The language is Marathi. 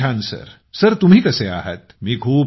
एकदम छान सर तुम्ही कसे आहात